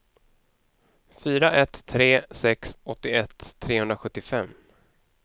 fyra ett tre sex åttioett trehundrasjuttiofem